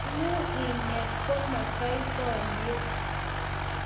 Mangu inet komotoi boryet